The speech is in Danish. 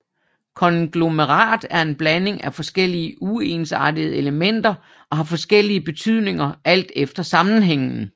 Konglomerat er en blanding af forskellige uensartede elementer og har forskellige betydninger alt efter sammenhængen